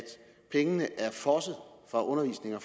pengene er fosset fra undervisning og